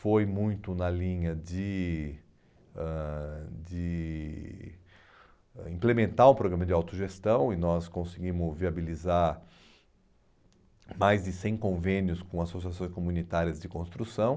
foi muito na linha de ãh de ãh implementar o programa de autogestão e nós conseguimos viabilizar mais de cem convênios com associações comunitárias de construção.